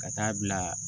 Ka taa bila